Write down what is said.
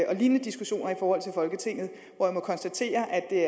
og lignende diskussioner i folketinget og jeg må konstatere at det